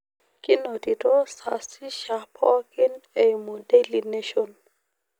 kinotito sasisha poooki eimu daily nation